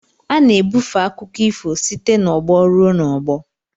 A na-ebufe akụkọ ifo site n'ọgbọ ruo n'ọgbọ